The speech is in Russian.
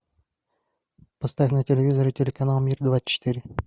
поставь на телевизоре телеканал мир двадцать четыре